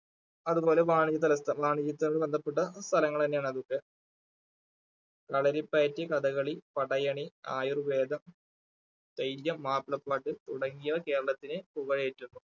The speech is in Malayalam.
അതുപോലെ ബന്ധപ്പെട്ട സ്ഥലങ്ങളാണ് അതൊക്കെ കളരിപ്പയറ്റ്, കഥകളി, പടയണി, ആയുർവ്വേദം, തെയ്യം, മാപ്പിളപ്പാട്ട് തുടങ്ങിയവ കേരളത്തിനെ